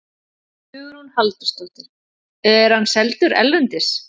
Hugrún Halldórsdóttir: Er hann seldur erlendis?